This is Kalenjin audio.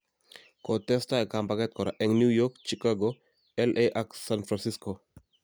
Kotestai kambaget kora eng New York, Chicago, LA ak San Francisco.